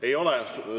Ei ole.